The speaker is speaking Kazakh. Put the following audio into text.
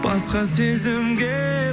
басқа сезімге